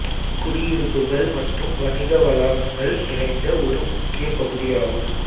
குடியிருப்புகள் மற்றும் வணிக வளாகங்கள் நிறைந்த ஒரு முக்கிய பகுதியாகும்